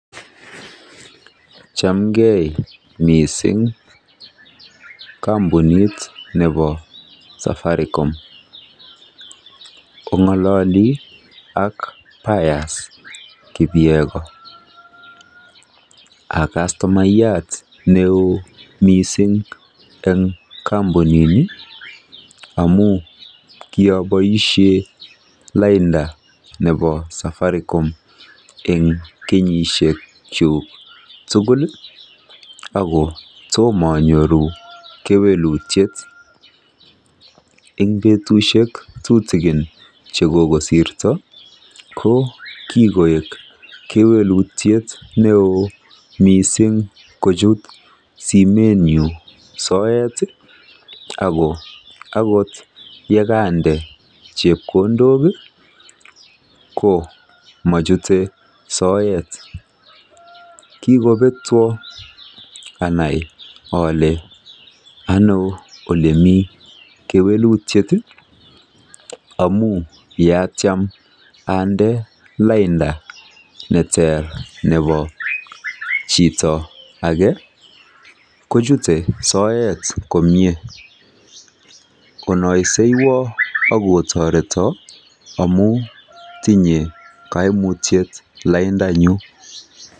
Chamgei mising, kampunit nebo safaricom. Ong'olalei ak Pius kipyegon. Akastomayat neoo mising eng kampunini amun kiaboishe lainda nebo safaricom eng kenyishekchu tugul. Ako tomayoru kewelutiet. Eng petushek tutikin che kokosirto ko kikoek kewelutiet neo mising kochut simenyu soet akot yekande chepkondok ko machutei soet .Kikopetwa anai ale ano olemi kewelutiet amu yatiem ande lainda ne ter nebo chito age kochutei soet komie. Onaisewa ak otoreto amu tinyei kewelutiet laindanyu.